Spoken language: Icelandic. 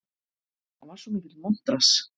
Hann var svo mikill montrass.